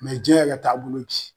diɲɛ yɛrɛ taabolo ji.